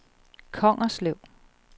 Kongerslev